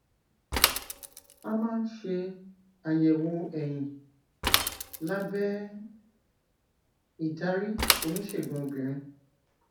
a máa ń ṣe àyẹwò ẹyin lábẹ ìdarí oníṣègùn obìnrin